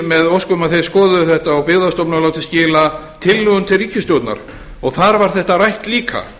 með ósk um að þeir skoðuðu þetta og byggðastofnun látin skila tillögum til ríkisstjórnar og þar var þetta rætt líka